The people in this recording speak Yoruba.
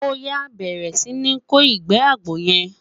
oya, bẹrẹ Si ni kò igbe àgbò yen